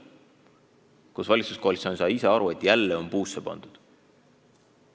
Ja taas sai valitsuskoalitsioon aru, et on puusse pandud.